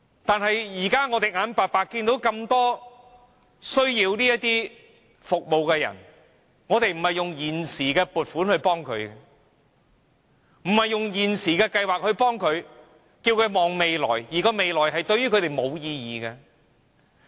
但是，現時有那麼多需要這些服務的人，政府卻不是用現時的撥款、現行的計劃來幫助他們，而是叫他們展望未來，但未來對他們並無意義。